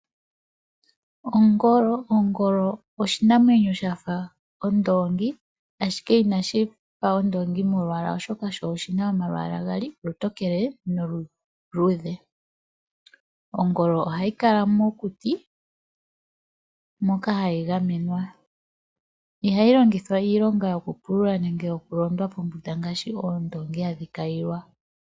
Ongolo. Ongolo oshinamwenyo shafa ondoongi ashike inashifa ondoongi molwaala oshoka sho oshina omalwaala gaali. Olutokele nolu luudhe . Ongolo ohayi kala mokuti moka hayi gamenwa . Ihayi longithwa iilonga yo kupulula nenge yo ku londwa pombunda ngaashi oondoongi hadhi kayilwa